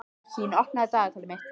Mekkín, opnaðu dagatalið mitt.